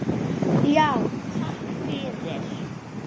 Já, takk fyrir.